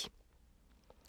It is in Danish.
DR2